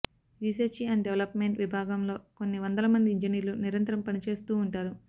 research and development విభాగంలో కొన్ని వందల మంది ఇంజనీర్లు నిరంతరం పనిచేస్తూ ఉంటారు